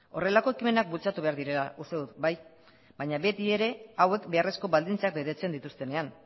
horrelako ekimenak bultzatu behar direla uste dut bai baina beti ere hauek beharrezko baldintzak betetzen dituztenean